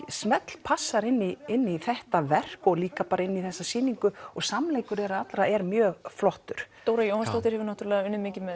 smellpassar inn í inn í þetta verk og líka inn í þessa sýningu og samleikur þeirra allra er mjög flottur Dóra Jóhannsdóttir hefur unnið mikið með